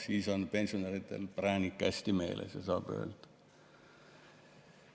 Siis on pensionäridel präänik hästi meeles ja saab öelda ...